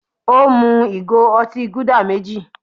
Ó mú ìgò otí Gúdà méjì.